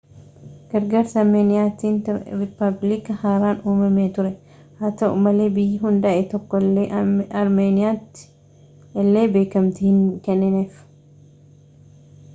gargaarsa armeeniyaatin riippaabilikii haraan uumamee ture haa ta'u malee biyyi hundaa'e tokko illee armeeniyaamti illee beekamtii hin kennineef